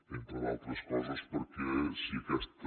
entre d’altres coses perquè si aquesta